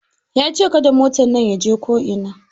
Ya ce "Kada motan nan ya je ko'ina"!